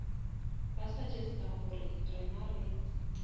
ba suggesta gore rena re